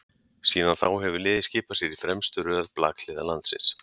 síðan þá hefur liðið skipað sér í fremstu röð blakliða landsins